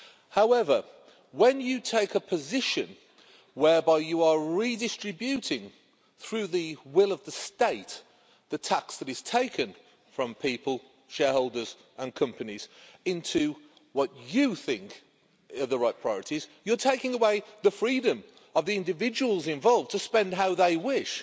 However, when you take a position whereby you are redistributing, through the will of the state, the tax that is taken from people, shareholders and companies, into what you think are the right priorities, you're taking away the freedom of the individuals involved to spend how they wish.